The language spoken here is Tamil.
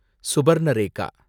சுபர்ணரேகா